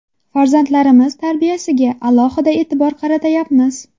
Farzandlarimiz tarbiyasiga alohida e’tibor qaratayapmiz.